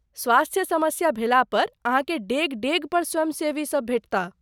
स्वास्थ्य समस्या भेला पर अहाँके डेग डेग पर स्वयंसेवीसब भेटताह।